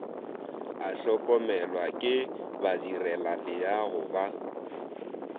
a hlokomelwa ke badirelaleago ba